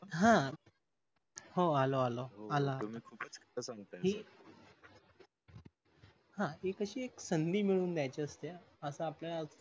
हा हो आलो आलो आला कि ती कशी संधी मिळवून द्यायची असते अस आपल्या ला